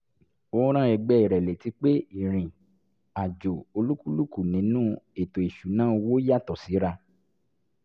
ó rán ẹgbé rẹ létí pé ìrìn-àjò olúkúlùkù nínú ètò ìṣúnná owó yàtọ̀ síra